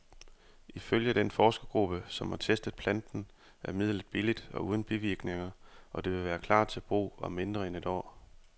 Ifølge den forskergruppe, som har testet planten, er midlet billigt og uden bivirkninger, og det vil klar til brug om mindre end et år.